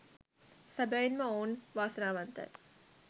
සැබැවින් ම ඔවුන් වාසනාවන්තයි